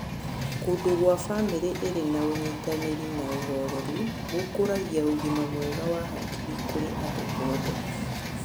Kũndũ gwa bamĩrĩ ĩrĩ na ũnyitanĩri na ũhoreru gũkũragia ũgima mwega wa hakiri kũrĩ andũ othe.